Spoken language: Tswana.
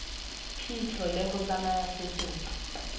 phitlho le go tsaya setopo